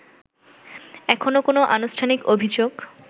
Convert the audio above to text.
এখনও কোনও আনুষ্ঠানিক অভিযোগ